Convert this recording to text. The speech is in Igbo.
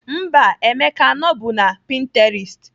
Mba, Emeka anọbu na Pinterest